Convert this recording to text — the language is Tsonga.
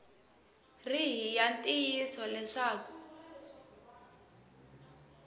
ri hi ya ntiyiso leswaku